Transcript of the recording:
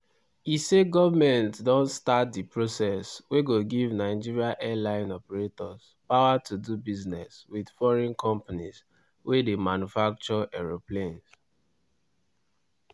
e say goment don start di process wey go give nigeria airline operators power to do business wit foreign companies wey dey manufacture aeroplanes.